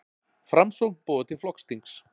Framsókn boðar til flokksþings